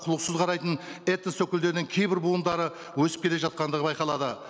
құлықсыз қарайтын этнос өкілдерінің кейбір буындары өсіп келе жатқандығы байқалады